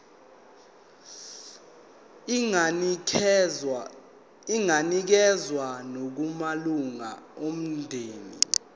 inganikezswa nakumalunga omndeni